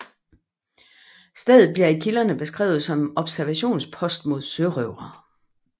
Stedet bliver i kilderne beskrevet som observationspost mod sørøvere